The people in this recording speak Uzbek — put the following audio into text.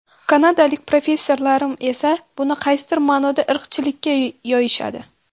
Kanadalik professorlarim esa buni qaysidir ma’noda irqchilikka yo‘yishadi.